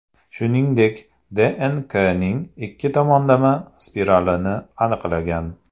Shuningdek, DNKning ikki tomonlama spiralini aniqlagan.